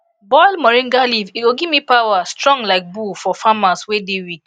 boil moringa leaf e go gimme power strong like bull for farmers wey dey weak